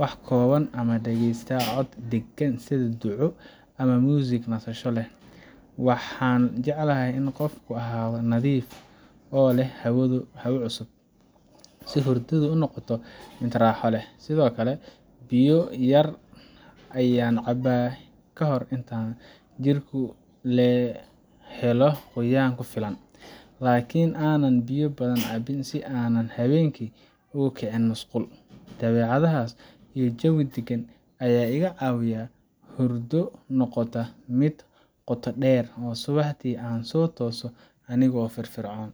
wax kooban ama dageysta cod degan sidhi duco, ama music nasasho leh, waxan jeclahay inu qoofka ahado nadif oo leh habo cusub sii hurdadu ay unoqoto mid raxo leh, mido kale biyo yar ayan cabaa kahor jirta helo qoyan kufilan lakin anan biyo badhasn cabin sii anan habenki ukicin masqul, dabecadahas iyo jawi dagan aya igaa cawiyah hordo noqota mid qoto deer oo subaxdi ansotoso anigo firfircon.